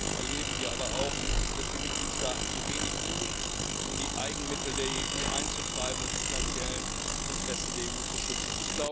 Gleichzeitig erleben wir aber auch, dass die Mitgliedstaaten zu wenig tun, um die Eigenmittel der EU einzutreiben und die finanziellen Interessen der EU zu schützen.